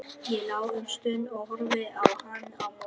Ég lá um stund og horfði á hann á móti.